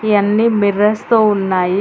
ఈ అన్ని మిర్రర్స్ తో ఉన్నాయి.